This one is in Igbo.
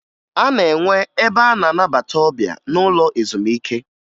A na-enwe ebe a na-anabata ọbịa n'ụlọ ezumike